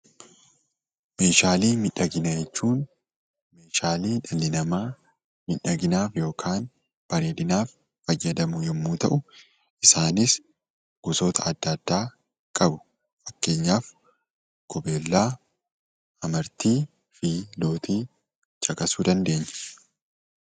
Meeshaalee miidhaginaa jechuun meeshaalee dhalli namaa miidhaginaaf yookiin bareedinaaf fayyadamu yommuu ta'u, isaanis gosoota adda addaa qabu; fakkeenyaaf: qubeelaa, amartii fi lootii caqasuu dandeenya.